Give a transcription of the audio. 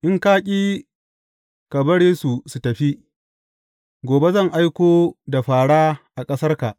In ka ƙi ka bari su tafi, gobe zan aiko da fāra a ƙasarka.